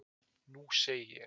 Nú segi ég.